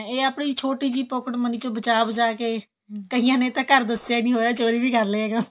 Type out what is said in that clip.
ਇਹ ਆਪਣੀ ਛੋਟੀ ਜਿਹੀ pocket money ਚੋ ਬਚਾ ਬਚਾ ਕੇ ਕਈਆਂ ਨੇ ਤਾਂ ਘਰ ਦਸਿਆ ਹੀ ਨਹੀਂ ਹੋਇਆ ਚੋਰੀ ਵੀ ਕਰ ਲਿਆ ਇਹ ਕੰਮ